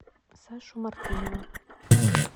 сашу мартынова